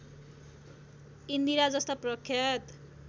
इन्दिरा जस्ता प्रख्यात